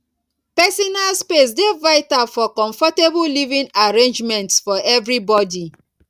personal space dey vital for comfortable living arrangements for everybody